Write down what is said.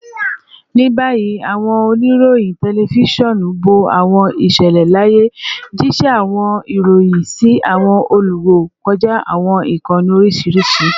Ni bayi, awọn onirohin tẹlifisiọnu bo awọn iṣẹlẹ laaye, jiṣẹ awọn iroyin si awọn oluwo kọja awọn ikanni oriṣiriṣi